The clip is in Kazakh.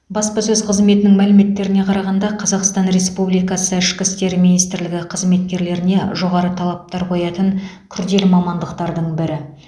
баспасөз қызметінің мәліметтеріне қарағанда қазақстан республикасы ішкі істер министрлігі қызметкерлерге жоғары талаптар қоятын күрделі мамандықтардың бірі